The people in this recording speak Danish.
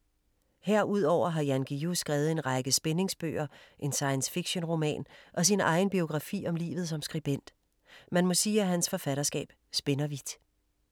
Herudover har Jan Guillou skrevet en række spændingsbøger, en science-fiction roman og sin egen biografi om livet som skribent. Man må sige, at hans forfatterskab spænder vidt.